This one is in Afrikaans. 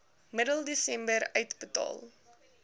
middel desember uitbetaal